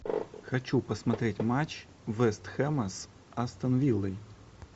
хочу посмотреть матч вест хэма с астон виллой